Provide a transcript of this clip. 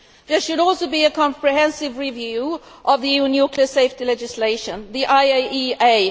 There should also be a comprehensive review of EU nuclear safety legislation by the IAEA.